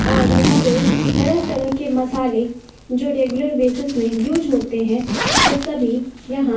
और यहां पे तरह तरह के मसाले जो रेगुलर बेसिस में यूज होते है वो सभी यहां--